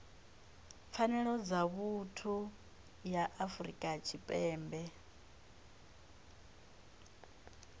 pfanelo dza vhuthu ya afrika tshipembe